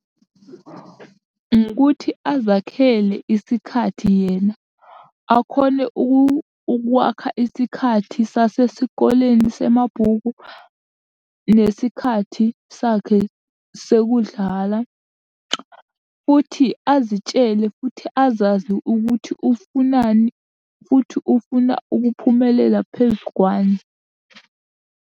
Ngokuthi, azakhele isikhathi yena akhone ukwakha isikhathi sasesikoleni semabhukwini nesikhathi sakhe sekudlala, futhi azitshele futhi azazi ukuthi ufunani, futhi ufuna ukuphumelela phezu kwani.